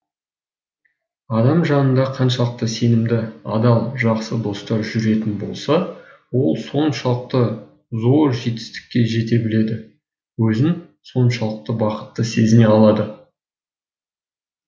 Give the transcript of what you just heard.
адам жанында қаншалықты сенімді адал жақсы достар жүретін болса ол соншалықты зор жетістікке жете біледі өзін соншалықты бақытты сезіне алады